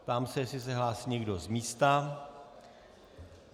Ptám se, jestli se hlásí někdo z místa.